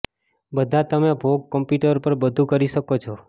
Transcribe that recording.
બધા તમે ભોગ કમ્પ્યુટર પર બધું કરી શકો છો